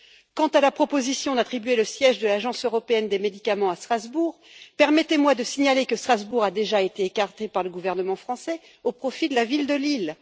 Quant à la proposition d'attribuer le siège de l'Agence européenne des médicaments à Strasbourg, permettez moi de signaler que Strasbourg a déjà été écartée par le gouvernement français au profit de la ville de Lille.